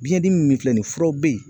Biɲɛ dimi min filɛ nin furaw be yen